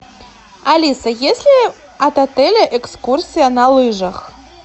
алиса есть ли от отеля экскурсия на лыжах